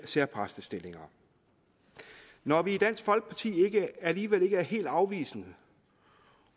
særpræstestillinger når vi i dansk folkeparti alligevel ikke er helt afvisende